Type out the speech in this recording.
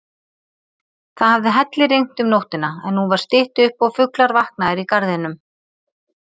Það hafði hellirignt um nóttina, en nú var stytt upp og fuglar vaknaðir í garðinum.